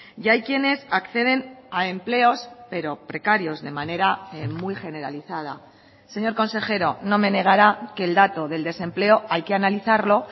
y hay quienes acceden a empleos pero precarios de manera muy generalizada señor consejero no me negará que el dato del desempleo hay que analizarlo